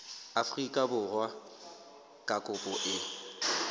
afrika borwa ha kopo e